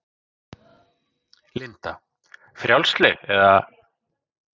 Linda: Frjálsleg, eða?